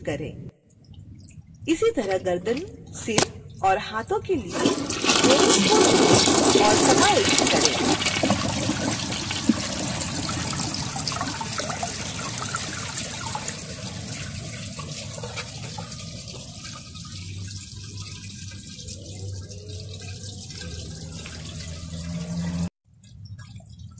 इसी तरह गर्दन सिर और हाथों के लिए bones को जोड़ें और समायोजित करें